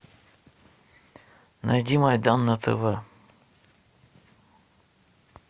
найди майдан на тв